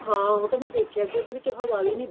ਹਾਂ ਉਹਤਾ ਮੈਂ ਦੇਖਿਆ ਕੀ ਉਹਦੇ ਵਿੱਚ ਹਵਾ ਵੀ ਨੀ